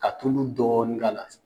Ka tulu dɔɔni k'a la.